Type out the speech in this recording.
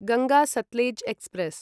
Ganga Sutlej express